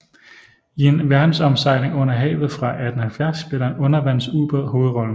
I En verdensomsejling under havet fra 1870 spiller en undervandsbåd hovedrollen